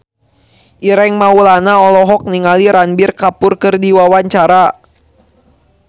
Ireng Maulana olohok ningali Ranbir Kapoor keur diwawancara